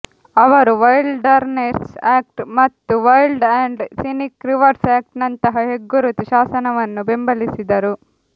ಅವರು Wilderness Act ಮತ್ತು Wild and Scenic Rivers Act ನಂತಹ ಹೆಗ್ಗುರುತು ಶಾಸನವನ್ನು ಬೆಂಬಲಿಸಿದರು